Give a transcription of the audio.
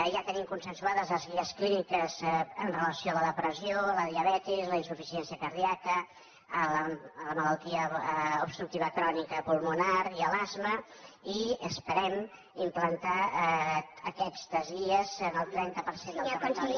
ja tenim consensuades les guies clíniques amb relació a la depressió la diabetis la insuficiència cardíaca la malaltia obstructiva crònica pulmonar i l’asma i esperem implantar aquestes guies en el trenta per cent del territori